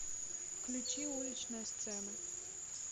включи уличная сцена